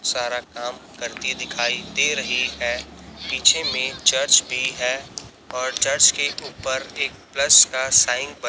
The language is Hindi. सारा काम करती दिखाई दे रही है पीछे में चर्च भी है और चर्च के ऊपर एक प्लस का साइन ब--